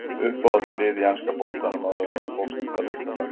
Uppáhaldslið í enska boltanum áður en að þú fórst að leika þar?